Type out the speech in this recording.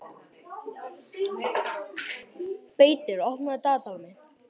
Beitir, opnaðu dagatalið mitt.